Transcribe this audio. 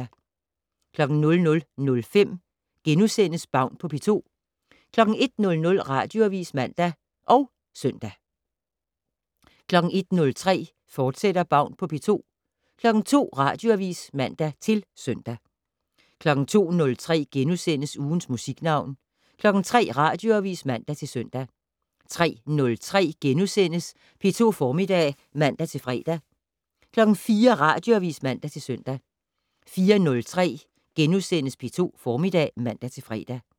00:05: Baun på P2 * 01:00: Radioavis (man og søn) 01:03: Baun på P2, fortsat 02:00: Radioavis (man-søn) 02:03: Ugens Musiknavn * 03:00: Radioavis (man-søn) 03:03: P2 Formiddag *(man-fre) 04:00: Radioavis (man-søn) 04:03: P2 Formiddag *(man-fre)